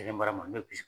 Ne mara mas